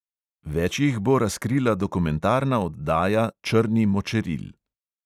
Več jih bo razkrila dokumentarna oddaja črni močeril.